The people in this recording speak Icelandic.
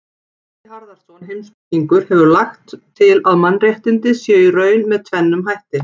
Atli Harðarson heimspekingur hefur lagt til að mannréttindi séu í raun með tvennum hætti.